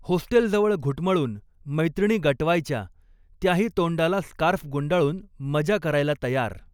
होस्टेलजवळ घुटमळून मैत्रिणी गटवायच्या, त्याही तोंडाला स्कार्फ गुंडाळून मजा करायला तयार.